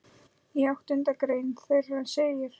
Í áttundu grein þeirra segir